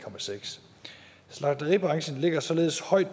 slagteribranchen ligger således højt